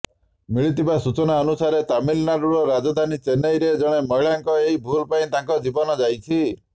ମିଳିଥିବା ସୂଚନା ଅନୁସାରେ ତାମିଲନାଡୁର ରାଜଧାନୀ ଚେନ୍ନାଇରେ ଜଣେ ମହିଳାଙ୍କ ଏହି ଭୁଲ୍ ପାଇଁ ତାଙ୍କ ଜୀବନ ଯାଇଛି